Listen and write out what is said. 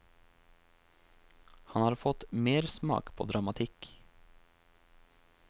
Han har fått mersmak på dramatikk.